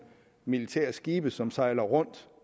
militære skibe som sejler rundt